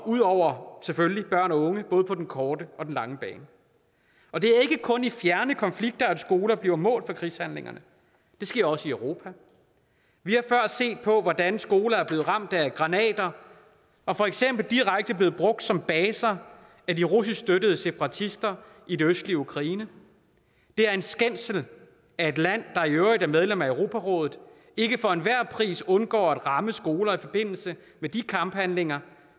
ud over børn og unge både på den korte og den lange bane og det er ikke kun i fjerne konflikter at skoler bliver mål for krigshandlinger det sker også i europa vi har før set hvordan skoler er blevet ramt af granater og for eksempel direkte er blevet brugt som baser af de russiskstøttede separatister i det østlige ukraine det er en skændsel at et land der i øvrigt er medlem af europarådet ikke for enhver pris undgår at ramme skoler i forbindelse med de kamphandlinger